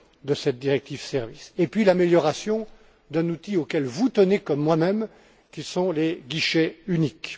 de cette directive sur les services, et puis l'amélioration d'un outil auquel vous tenez, comme moi même, que sont les guichets uniques.